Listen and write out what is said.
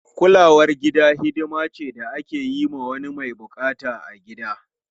Kulawar gida hidima ce da ake yi wa wani mai bukata a gida.